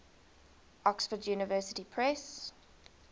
oxford university press